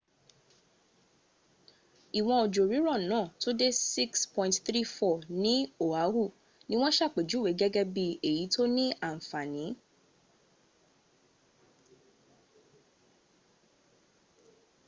ìwọ́n ojò rírọ̀ náà tó dé 6.34 ní oahu ní wọ́n ṣàpèjúwè gẹ́gẹ́ bí èyí tóní àǹfàn.